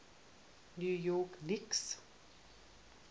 new york knicks